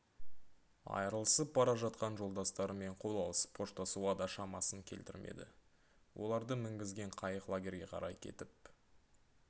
айырылысып бара жатқан жолдастарымен қол алысып қоштасуға да шамасын келтірмеді оларды мінгізген қайық лагерге қарай кетіп